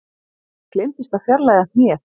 Gleymdist að fjarlægja hnéð